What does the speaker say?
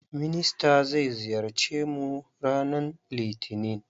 Minister zai ziyarce mu ranan litinin.